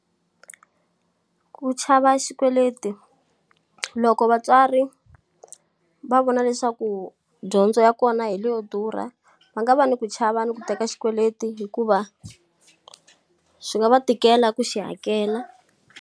Ku chava xikweleti. Loko vatswari va vona leswaku dyondzo ya kona hi leyo durha, va nga va ni ku chava ni ku teka xikweleti hikuva swi nga va tikela ku xi hakela.